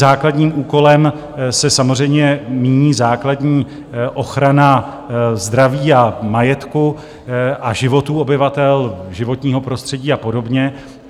Základním úkolem se samozřejmě míní základní ochrana zdraví a majetku a životů obyvatel, životního prostředí a podobně.